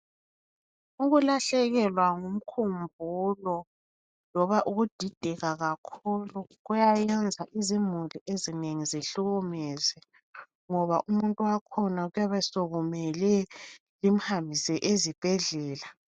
Ukulahlekelwa ngumkhumbulo loba ukudideka kakhulu kuyayenza izimuli ezinengi zihlukunyezwe ngoba umuntu wakhona kuyabe sokumele limhambise ezibhedlela.